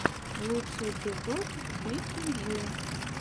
лучший эпизод бекки джи